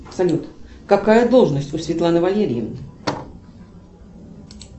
салют какая должность у светланы валерьевны